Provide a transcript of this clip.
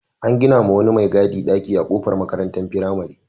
An gina wa wani mai gadi ɗaki a kofar makarantar firamare.